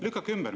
" Lükake ümber.